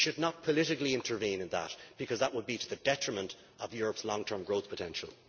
We should not politically intervene in that, because that would be to the detriment of Europe's long term growth potential.